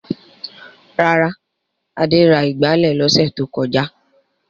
Rárá, Adé ra ìgbálẹ̀ lọ́sẹ̀ tó kọjá.